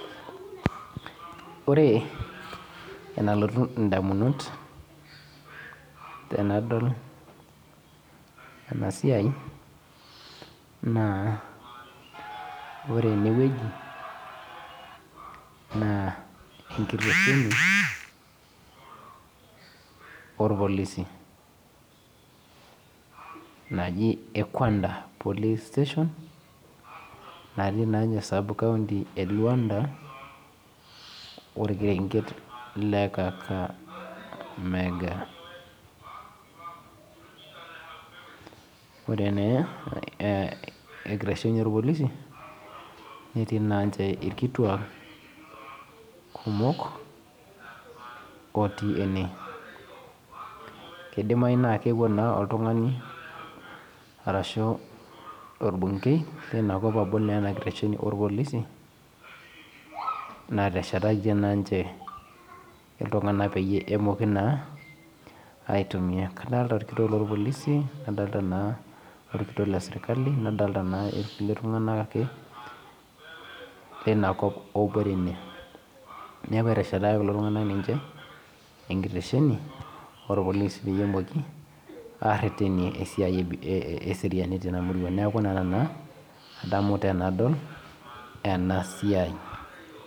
Ore enalotu ndamunot tanadol ena siai na ore enewueji na enkitesheni orpolisi naji ekuanda police station natii esakaunti eluanda orkerenket le kakamega ore na enkitesheni orpolisi netii irkituak kumok otii ene kidimayu na keewuo na oltung'ani ashu orbungei leina kop abol inakitesheni orpolisi nateshetaka ltung, anak peyiebemoki na aitumia adolta orkitok lorpolisi nadolta orkitok leserkali orkulie tung'anak ake linakop otii ine neaku etesherakaki ninche enkitesheni orpolisi petumoki aterenii esiai eripoto tenakop neaku ena adamu tanadol enasiai.